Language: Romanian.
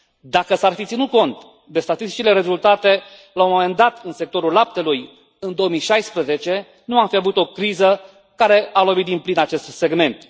Dacă s ar fi ținut cont de statistici și de rezultate, la un moment dat, în sectorul laptelui, în 2016, nu am fi avut o criză care a lovit din plin acest segment.